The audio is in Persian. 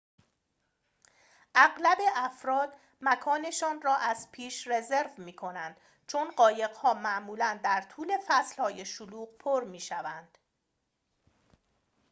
اغلب افراد مکان‌شان را از پیش رزرو می‌کنند چون قایق‌ها معمولاً در طول فصل‌های شلوغ پر می‌شوند